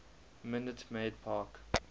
minute maid park